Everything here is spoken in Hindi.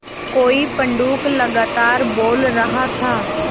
कोई पंडूक लगातार बोल रहा था